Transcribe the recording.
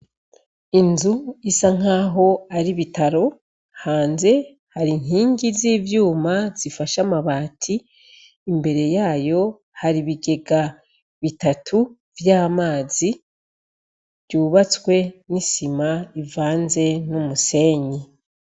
Inzu isa nkaho ari ibitaro hanze hari inkingi z'ivyuma zifashe amabati imbere yayo hari ibigega bitatu vy'amazi vyubatswe n'isima bivanze n'umusenyi.